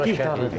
Kəti kəndi idi.